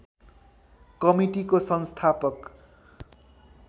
कमिटिको संस्थापक